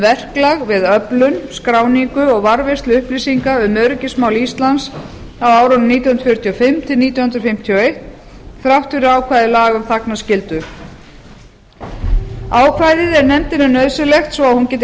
verklag við öflun skráningu og varðveislu upplýsinga um öryggismál íslands á árunum nítján hundruð fjörutíu og fimm til nítján hundruð níutíu og eitt þrátt fyrir ákvæði laga um þagnarskyldu ákvæðið er nefndinni nauðsynlegt svo að hún geti